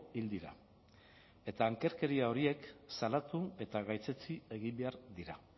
hil dira eta ankerkeria horiek salatu eta gaitzetsi egin behar dira